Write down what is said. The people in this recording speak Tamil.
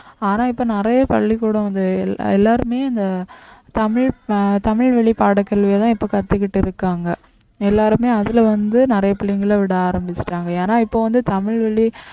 ஆனா இப்ப நிறைய பள்ளிக்கூடம் வந்து எல்லாருமே இந்த தமிழ் அஹ் தமிழ் வழி பாடக்கல்வியைதான் இப்ப கத்துக்கிட்டு இருக்காங்க எல்லாருமே அதுல வந்து நிறைய பிள்ளைங்களை விட ஆரம்பிச்சுட்டாங்க ஏன்னா இப்ப வந்து தமிழ் வழி